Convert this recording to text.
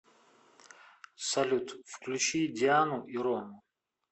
салют включи диану и рому